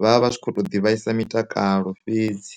vha vha kho to ḓi vhaisa mitakalo fhedzi.